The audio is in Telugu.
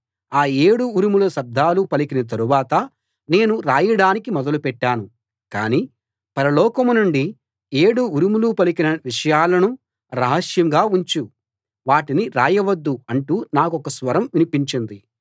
ఆ ఏడు ఉరుముల శబ్దాలు పలికిన తరువాత నేను రాయడానికి మొదలుపెట్టాను కానీ పరలోకం నుండి ఏడు ఉరుములు పలికిన విషయాలను రహస్యంగా ఉంచు వాటిని రాయవద్దు అంటూ నాకొక స్వరం వినిపించింది